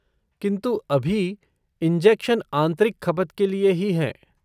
किन्तु अभी, इंजेक्शन आंतरिक खपत के लिए ही हैं।